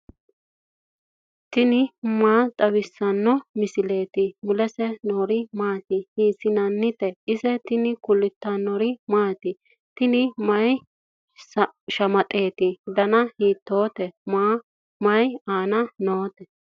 tini maa xawissanno misileeti ? mulese noori maati ? hiissinannite ise ? tini kultannori maati? Tinni mayi shamaxxetti? Danna hiittotte? Mayi aanna nootte?